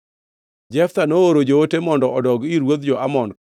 Jeftha nooro joote mondo odog ir ruodh jo-Amon,